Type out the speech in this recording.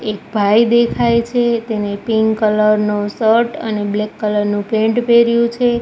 એક ભાઈ દેખાય છે તેને પિંક કલર નો શર્ટ અને બ્લેક કલર નું પેન્ટ પેર્યું છે.